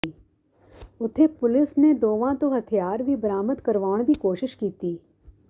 ਉੱਥੇ ਪੁਲਿਸ ਨੇ ਦੋਵਾਂ ਤੋਂ ਹਥਿਆਰ ਵੀ ਬਰਾਮਦ ਕਰਵਾਉਣ ਦੀ ਕੋਸ਼ਿਸ਼ ਕੀਤੀ